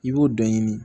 I b'o dɔ ɲini